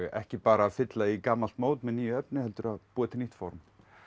ekki bara að fylla í gamalt mót með nýju efni heldur búa til nýtt form